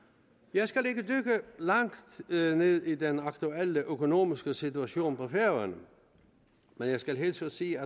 jeg skal ikke dykke langt ned i den aktuelle økonomiske situation på færøerne men jeg skal hilse og sige